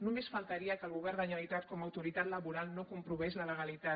només faltaria que el govern de la generalitat com a autoritat laboral no comprovés la legalitat